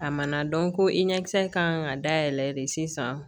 A mana ko i ɲɛkisɛ kan ka dayɛlɛ de sisan